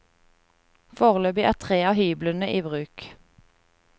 Foreløpig er tre av hyblene i bruk.